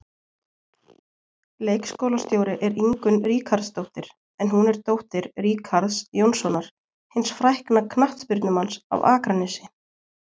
Leikskólastjóri er Ingunn Ríkharðsdóttir en hún er dóttir Ríkharðs Jónssonar, hins frækna knattspyrnumanns af Akranesi.